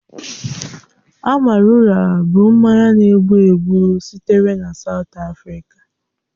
Amarula bụ mmanya na-egbu egbu sitere na Saụt Afrịka.